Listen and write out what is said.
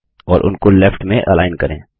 और उनको लेफ्ट में अलाइन करें